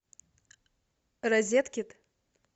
розеткид